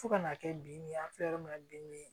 Fo ka n'a kɛ binni ye an filɛ yɔrɔ min na bin